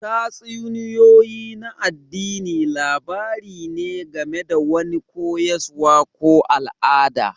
Tatsuniyoyi na addini labari ne game da wani koyaswa ko al'ada